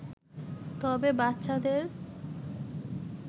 তবে বাচ্চাদের